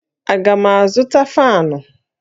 Aga m azụta faanụ?